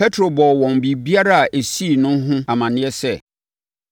Petro bɔɔ wɔn biribiara a ɛsii no ho amaneɛ sɛ,